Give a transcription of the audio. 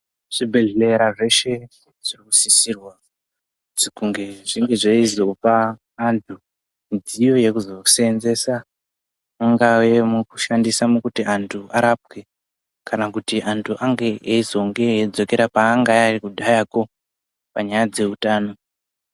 Zvibhedhlera zveshe z inosisirwa kunge zveyizopa vantu midziyo yekuzosenzesa ingava yekushandisa kuti vantu varapwe kana kuti antu ange eyizonge eyidzokera paanga ari kudhayako panyaya dzeutano.